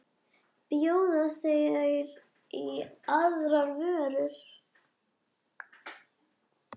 Bjóða þeir í aðrar vörur?